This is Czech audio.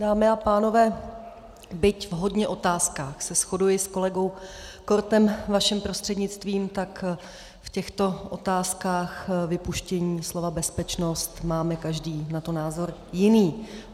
Dámy a pánové, byť v hodně otázkách se shoduji s kolegou Kortem, vaším prostřednictvím, tak v těchto otázkách vypuštění slova bezpečnost máme každý na to názor jiný.